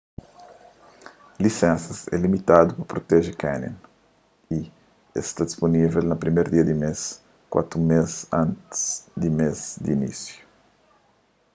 lisensas é limitadu pa proteje canyon y es ta sta dispunivel na 1º dia di mês kuatu mês antis di mês di inisiu